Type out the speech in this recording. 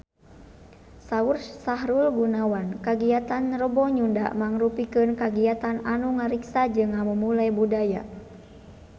Saur Sahrul Gunawan kagiatan Rebo Nyunda mangrupikeun kagiatan anu ngariksa jeung ngamumule budaya Sunda